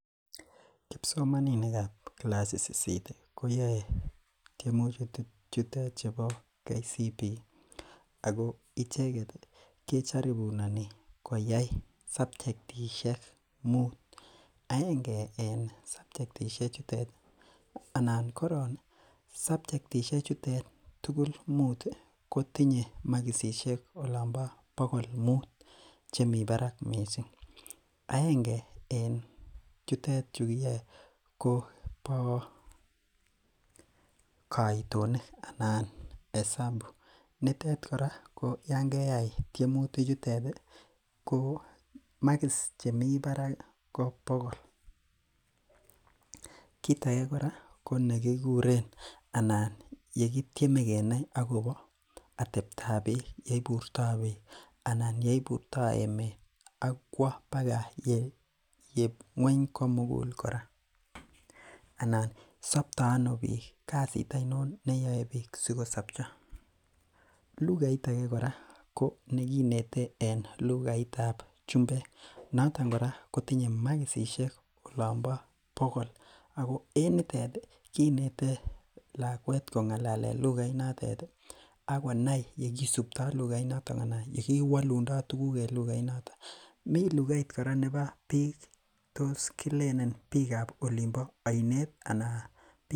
Kipsomaninikab kilasit sisit koyae tiemutik chutet chebo Kenya certificate for primary education icheket ih kejaribunani koyai sapchektishek muut. Aenge en sapchektishek chetet ih anan koron sapchektishek chetet ih tugul muut ih kotinye makisisiek olan bo bokol muut. Chemi barak missing. Aenge en chuton ko kaitonik anan esabu. nitet kora Yoon keyai tiemutik chutet ih makis chemi barak ih ko bokol. Kit age kora ko nekikuren anan yekitemie kenai akobo ateb tab bik, yeibur tah bik anan yeiburto emet akwo baga ng'uany komugul kora. Anan sapto ano bik kasit ainon neyae bik sikosapcho. Lugait age kora ko nekinete en lugaitab chumbek, noton kora kotinye makisisiek olan bo bokol, ako en nitet kinete lakuet kong'alalen lughait notet ih akonai yekisupto lughait noto anan yekiwalundo tuguk en lugait en lughait noto, mi kora lughait nebo biik tos kilen lughait nebo Olin bo ainet anan bik.